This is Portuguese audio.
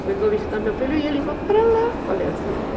Eu venho visitar meu filho e eles vão para lá, falei assim, né?